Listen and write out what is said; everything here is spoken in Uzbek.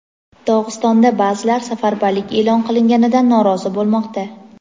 Dog‘istonda baʼzilar safarbarlik eʼlon qilinganidan norozi bo‘lmoqda.